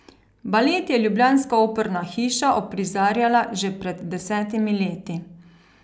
Balet je ljubljanska operna hiša uprizarjala že pred desetimi leti.